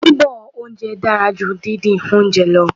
Bíbọ oúnjẹ dára ju díndín oúnjẹ lọ.